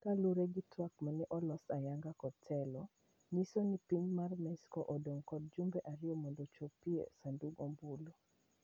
Kaluorre gi twak mane olos ayanga kod telo ,yiso ni piny mar mexico odong kod jumbe ariyo mondo ochopie sandug ombulu.